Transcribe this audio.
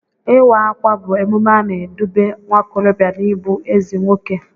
Ịwa ákwà bụ emume na-edube nwaokorobịa n'ịbụ ezi nwoke.